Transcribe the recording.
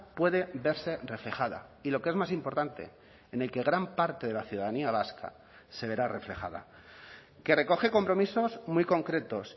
puede verse reflejada y lo que es más importante en el que gran parte de la ciudadanía vasca se verá reflejada que recoge compromisos muy concretos